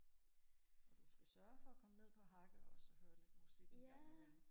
og du skal sørge for og komme ned på hakke også og høre lidt musik en gang i mellem